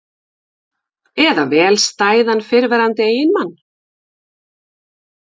Eða vel stæðan fyrrverandi eiginmann?